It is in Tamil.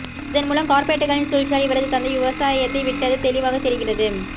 இதன் மூலம் கார்ப்பரேட்களின் சூழ்ச்சியால் இவரது தந்தை விவசாயத்தை விட்டது தெளிவாக தெரிகிறது